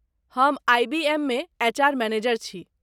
हम आइ.बी.एम. मे HR. Manager छी।